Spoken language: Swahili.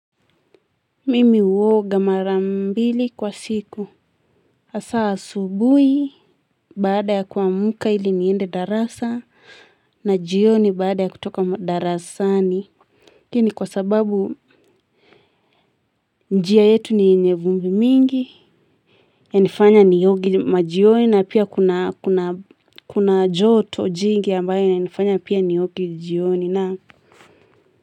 Mimi uoga mara mbili kwa siku. Asaa asubui baada ya kuamka ili niende darasa na jioni baada ya kutoka darasani. Ii ni kwa sababu njia yetu ni yenye vumbi mingi. Yanifanya nioge majioni na pia kuna kuna joto jingi ambayo inanifanya pia nioge jioni na.